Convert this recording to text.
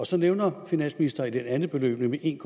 så nævner finansministeren det andet beløb nemlig en